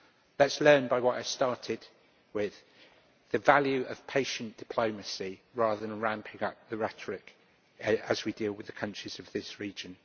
Let us learn by what I started with the value of patient diplomacy rather than ramping up the rhetoric as we deal with the countries of this region.